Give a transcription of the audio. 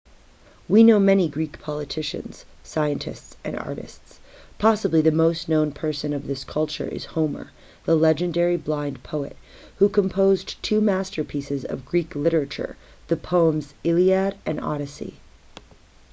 we know many greek politicians scientists and artists possibly the most known person of this culture is homer the legendary blind poet who composed two masterpieces of greek literature the poems iliad and odyssey